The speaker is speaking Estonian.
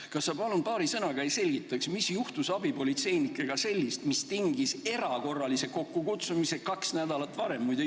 Kas sa palun selgitaksid paari sõnaga, mis juhtus abipolitseinikega sellist, et see tingis erakorralise kokkukutsumise kaks nädalat varem?